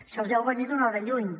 se’ls veu venir d’una hora lluny